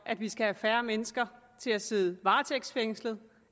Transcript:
at vi skal have færre mennesker til at sidde varetægtsfængslet